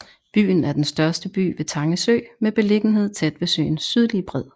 Byen er den største by ved Tange Sø med beliggenhed tæt ved søens sydlige bred